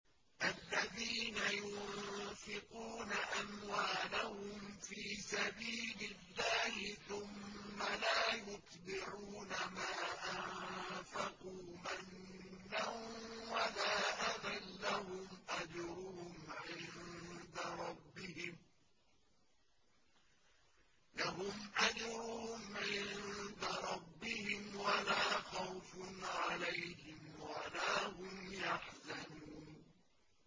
الَّذِينَ يُنفِقُونَ أَمْوَالَهُمْ فِي سَبِيلِ اللَّهِ ثُمَّ لَا يُتْبِعُونَ مَا أَنفَقُوا مَنًّا وَلَا أَذًى ۙ لَّهُمْ أَجْرُهُمْ عِندَ رَبِّهِمْ وَلَا خَوْفٌ عَلَيْهِمْ وَلَا هُمْ يَحْزَنُونَ